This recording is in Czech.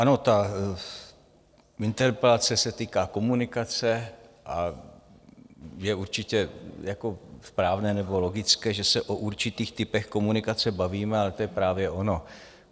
Ano, ta interpelace se týká komunikace a je určitě správné nebo logické, že se o určitých typech komunikace bavíme, a to je právě ono.